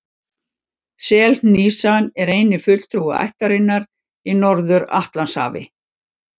Selhnísan er eini fulltrúi ættarinnar í Norður-Atlantshafi.